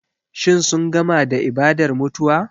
Shin sun gama da ibadar mutuwa?